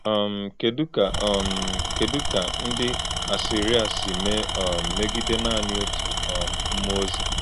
um Kedu ka um Kedu ka ndị Asịrịa si mee um megide naanị otu um mmụọ ozi?